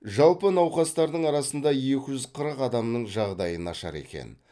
жалпы науқастардың арасында екі жүз қырық адамның жағдайы нашар екен